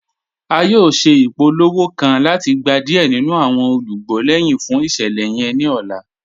À yóò ṣẹ̀ ipòlówò ipòlówò kàn láti gbà diẹ̀ nínu awọn olúgbọ̀ lẹ́hin fún iṣẹ̀lẹ̀ yẹn ni ọ̀là.